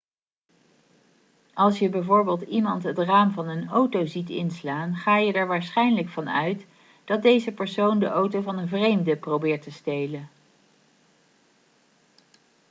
als je bijvoorbeeld iemand het raam van een auto ziet inslaan ga je er waarschijnlijk van uit dat deze persoon de auto van een vreemde probeert te stelen